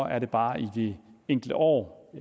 er det bare i de enkelte år